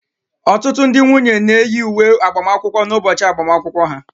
Ọtụtụ ndị nwunye na-eyi uwe agbamakwụkwọ n'ụbọchị agbamakwụkwọ ha